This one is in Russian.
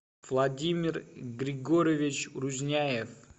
владимир григорьевич рузняев